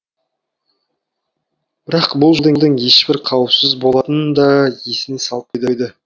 бірақ бұл жолдың ешбір қауіпсіз болатынын да есіне салып қойды